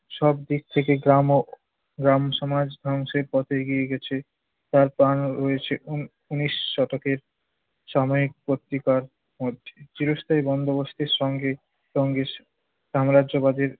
সবদিক থেকে গ্রাম ও গ্রাম সমাজ ধ্বংসের পথে এগিয়ে গেছে। তার প্রমাণ রয়েছে উন~ উনিশ শতকের সাময়িক পত্রিকার মধ্যে। চিরস্থায়ী বন্দোবস্তের সঙ্গে সঙ্গে সাম্রাজ্যবাদীর